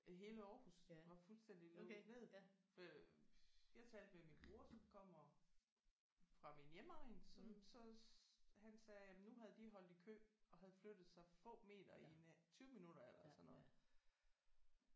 Øh hele Aarhus var fuldstændig lukket ned øh jeg talte med min bror som kommer fra min hjemegn som så han sagde jamen nu havde de holdt i kø og havde flyttet sig få meter i 20 minutter eller sådan noget